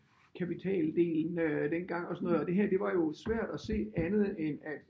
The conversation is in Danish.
Kapitaldelen øh dengang og sådan noget og det her det var jo svært at se andet end at